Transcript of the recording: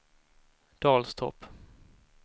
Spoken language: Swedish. Dalstorp